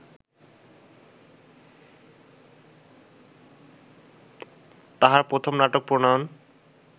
তাঁহার প্রথম নাটক প্রণয়ন